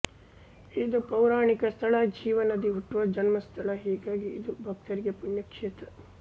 ಇದು ಪೌರಾಣಿಕ ಸ್ಥಳ ಜೀವ ನದಿ ಹುಟ್ಟುವ ಜನ್ಮಸ್ಥಳ ಹೀಗಾಗಿ ಇದು ಭಕ್ತರಿಗೆ ಪುಣ್ಯ ಕ್ಷೇತ್ರ